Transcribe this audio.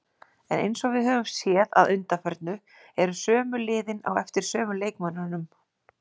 En eins og við höfum séð að undanförnu eru sömu liðin á eftir sömu leikmönnunum.